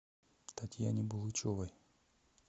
татьяне булычевой